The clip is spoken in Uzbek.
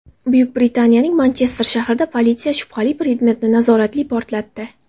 Buyuk Britaniyaning Manchester shahrida politsiya shubhali predmetni nazoratli portlatdi.